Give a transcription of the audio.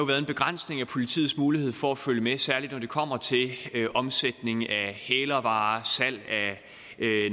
været en begrænsning af politiets mulighed for at følge med særlig når det kommer til omsætning af hælervarer salg af